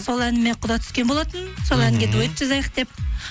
сол әніме құда түскен болатын сол әнге дуэт жазайық деп